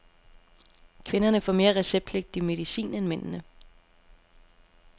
Kvinderne får mere receptpligtig medicin end mændene.